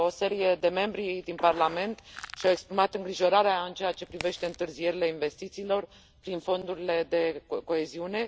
O serie de membri din Parlament și au exprimat îngrijorarea în ceea ce privește întârzierile investițiilor prin fondurile de coeziune.